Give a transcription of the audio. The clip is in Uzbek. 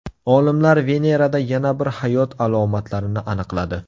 Olimlar Venerada yana bir hayot alomatlarini aniqladi.